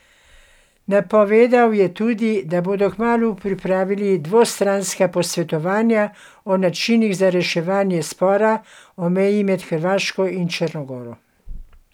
Napovedal je tudi, da bodo kmalu pripravili dvostranska posvetovanja o načinih za reševanje spora o meji med Hrvaško in Črno goro.